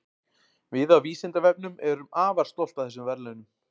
Við á Vísindavefnum erum afar stolt af þessum verðlaunum.